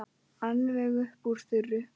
Alveg upp úr þurru?